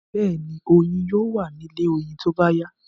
Bẹ́ẹ̀ni, oyin yóò wa ní inú ilé oyin tóbá yá